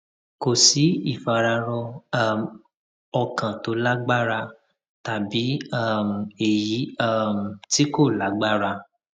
kò sí ìfararọ um ọkàn tó lágbára tàbí um èyí um tí kò lágbára